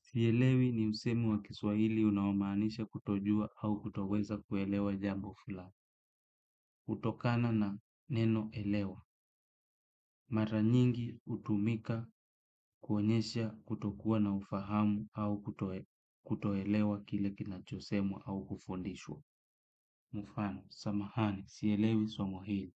Sielewi ni msemo wa kiswahili unaomaanisha kutojua au kutoweza kuelewa jambo fulani. Kutokana na neno elewa. Mara nyingi hutumika kuonyesha kutokuwa na ufahamu au kutoelewa kile kinachosemwa au kufundishwa. Mfano, samahani, sielewi somo hili.